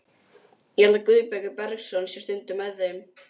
Ég held að Guðbergur Bergsson sé stundum með þeim.